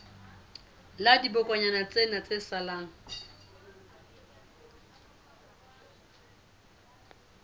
la dibokonyana tsena tse salang